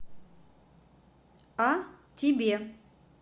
а тебе